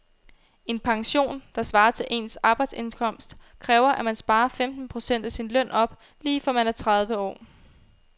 En pension, der svarer til ens arbejdsindkomst, kræver at man sparer femten procent af sin løn op lige fra man er tredive år.